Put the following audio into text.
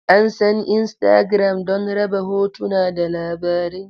An san Instagram don raba hotuna da labarai.